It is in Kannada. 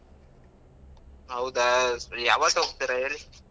ಹೌದಾ, ಸರಿ. ಯಾವತ್ ಹೋಗ್ತೀರಾ ಹೇಳಿ?